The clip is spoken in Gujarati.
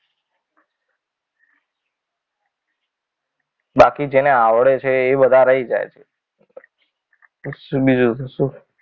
બાકી જેને આવડે છે એ બધા રહી જાય છે. બીજું તો શું હોય!